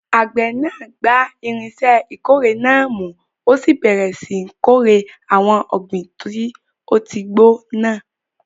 Àgbẹ̀ náà gba irinṣẹ́ ìkórè náà mú, ó sì bẹ̀rẹ̀ síi kórè àwọn ọ̀gbìn tó ti gbó náà.